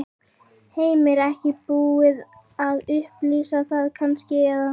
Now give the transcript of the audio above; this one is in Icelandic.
Heimir: Ekki búið að upplýsa það kannski, eða?